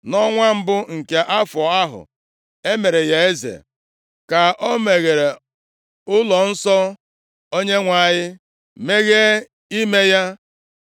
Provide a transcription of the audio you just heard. Nʼọnwa mbụ nke afọ ahụ e mere ya eze ka o meghere ụlọnsọ Onyenwe anyị, mezie ime ya.